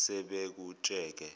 sebekujike